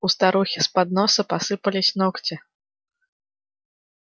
у старухи с подноса посыпались ногти